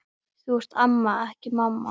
Þú ert amma, ekki mamma.